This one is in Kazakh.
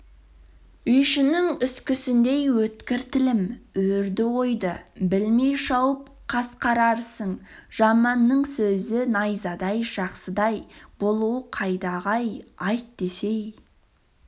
үйшінің үскісіндей өткір тілім өрді-ойды білмей шауып қасқарарсың жаманның сөзі найзадай жақсыдай болу қайдағы-ай айт десең